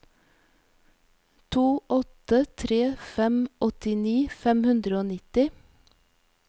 to åtte tre fem åttini fem hundre og nitti